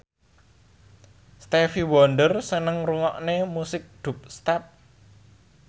Stevie Wonder seneng ngrungokne musik dubstep